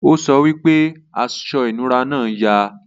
o sọ pé aṣọ inura náa yà